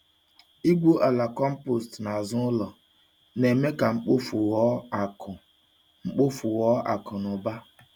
Igwu ala compost n'azụ ụlọ na-eme ka mkpofu ghọọ akụ mkpofu ghọọ akụ na ụba.